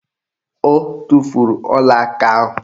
O tufuru ọlaaka ahụ